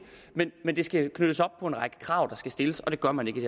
men det skal knyttes op på en række krav der skal stilles og det gør man ikke i